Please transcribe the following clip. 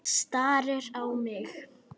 Starir á mig.